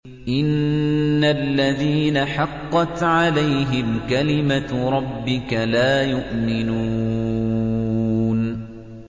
إِنَّ الَّذِينَ حَقَّتْ عَلَيْهِمْ كَلِمَتُ رَبِّكَ لَا يُؤْمِنُونَ